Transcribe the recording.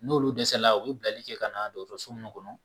N'olu dɛsɛla u bɛ bilali kɛ ka na dɔgɔtɔrɔso min kɔnɔ